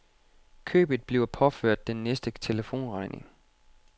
Købet bliver påført den næste telefonregning.